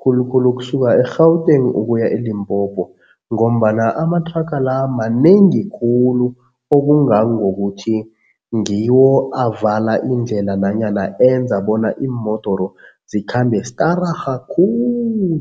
khulukhulu ukusuka e-Gauteng ukuya eLimpopo ngombana amathraga la manengi khulu okungangokuthi ngiwo avala indlela nanyana enza bona iimodoro zikhambe stararha khulu.